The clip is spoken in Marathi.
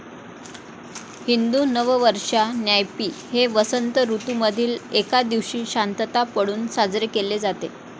हिंदू नववर्षा नायपी हे वसंत ऋतू मधील एका दिवशी शांतता पळून साजरे केले जाते.